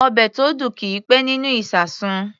Ọbẹ̀ tó dùn kì í pẹ́ nínú ìṣasùn.